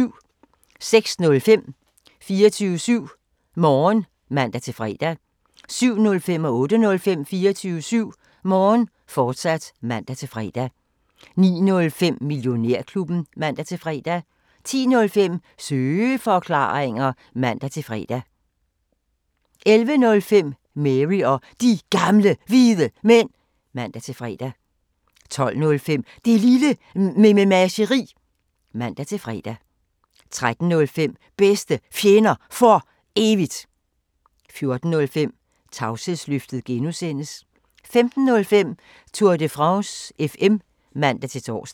06:05: 24syv Morgen (man-fre) 07:05: 24syv Morgen, fortsat (man-fre) 08:05: 24syv Morgen, fortsat (man-fre) 09:05: Millionærklubben (man-fre) 10:05: Søeforklaringer (man-fre) 11:05: Mary og De Gamle Hvide Mænd (man-fre) 12:05: Det Lille Mememageri (man-fre) 13:05: Bedste Fjender For Evigt 14:05: Tavshedsløftet G) 15:05: Tour de France FM (man-tor)